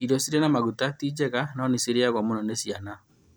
Irio cirĩ na maguta- tinjega no nĩcirĩagwo mũno nĩ ciana